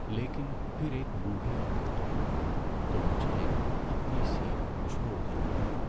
لیکن پھر ایک بوڑھی عورت آ گئی تو مجھے اپنی سیٹ چھوڑ دینی پڑی۔